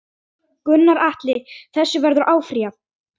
Gunnar Atli: Þessu verður áfrýjað?